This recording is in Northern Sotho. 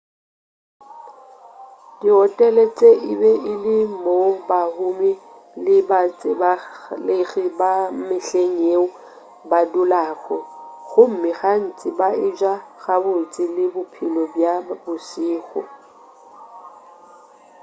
dihotele tše e be e le moo bahumi le batsebalegi ba mehleng yeo ba dulago gomme gantši ba eja gabotse le bophelo bja bošego